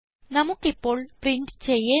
നമുക്ക് ഇപ്പോൾ പ്രിന്റ് ചെയ്യേണ്ട